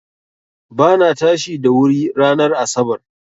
Ba na tashi da wuri ranar asarar